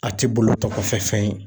A ti bolo tɔ kɔfɛ fɛn ye